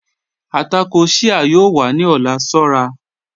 Àtàkọ́ Shia yóò wà ni ọ̀lá, ṣọ̀ra